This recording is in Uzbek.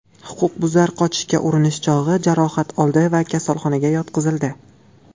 Huquqbuzar qochishga urinish chog‘i jarohat oldi va kasalxonaga yotqizildi.